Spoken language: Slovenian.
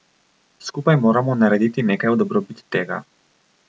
Skupaj moramo narediti nekaj v dobrobit tega.